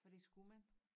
For det skulle man